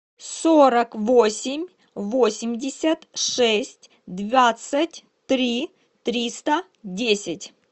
сорок восемь восемьдесят шесть двадцать три триста десять